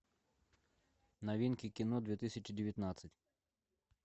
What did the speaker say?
новинки кино две тысячи девятнадцать